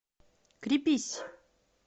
крепись